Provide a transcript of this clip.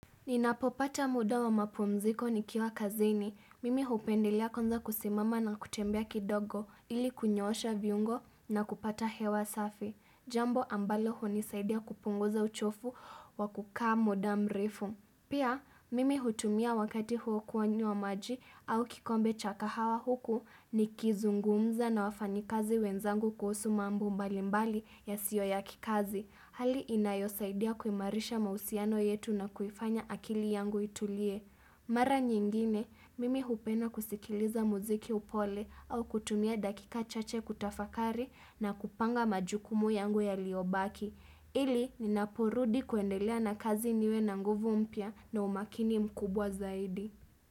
Ninapopata muda wa mapumziko nikiwa kazini. Mimi hupendelea kwanza kusimama na kutembea kidogo ili kunyoosha viungo na kupata hewa safi. Jambo ambalo hunisaidia kupunguza uchovu wa kukaa muda mrefu. Pia, mimi hutumia wakati huo kunywa maji au kikombe cha kahawa huku nikizungumza na wafanyi kazi wenzangu kuhusu mambo mbali mbali yasio ya kikazi. Hali inayosaidia kuimarisha mahusiano yetu na kuifanya akili yangu itulie. Mara nyingine, mimi hupenda kusikiliza mziki wa upole au kutumia dakika chache kutafakari na kupanga majukumu yangu yaliobaki. Ili ninapo rudi kuendelea na kazi niwe na nguvu mpya na umakini mkubwa zaidi.